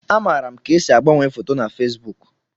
Amaara m ka esi agbanwe foto na Fesbuk